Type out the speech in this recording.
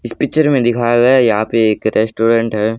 इस पिक्चर में दिखाया गया यहां पर एक रेस्टोरेंट हैं।